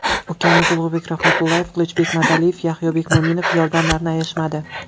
Ukamiz Ulug‘bek Rahmatullayev, Qilichbek Madaliyev, Yahyobek Mo‘minov yordamlarini ayashmadi.